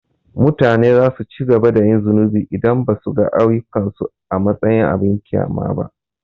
Mutane za su ci gaba da yin zunubi idan ba su ga ayyukansu a matsayin abin ƙyama ba.